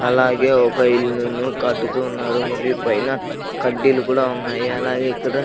అలాగే ఒక ఇల్లును కట్టుతున్నారు మరియు పైన కడ్డీలు కూడా ఉన్నాయి అలాగే ఇక్కడ--